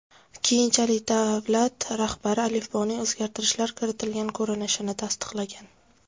Keyinchalik davlat rahbari alifboning o‘zgartirishlar kiritilgan ko‘rinishini tasdiqlagan.